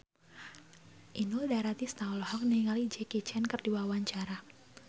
Inul Daratista olohok ningali Jackie Chan keur diwawancara